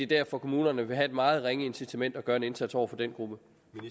der for kommunerne vil være et meget ringe incitament til at gøre en indsats over for den gruppe